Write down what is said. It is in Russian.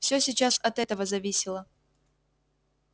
всё сейчас от этого зависело